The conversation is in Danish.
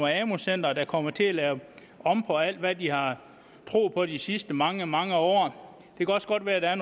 amu centre der kommer til at lave om på alt hvad de har troet på de sidste mange mange år det kan også godt være at der er